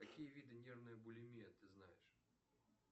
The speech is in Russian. какие виды нервной булимии ты знаешь